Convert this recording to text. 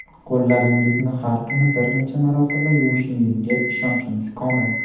Qo‘llaringizni har kuni bir necha marotaba yuvishingizga ishonchimiz komil.